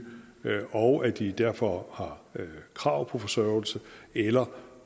og at de derfor har krav på forsørgelse eller